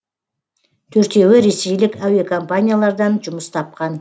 төртеуі ресейлік әуекомпаниялардан жұмыс тапқан